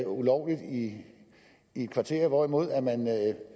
ulovligt i et kvarter hvorimod man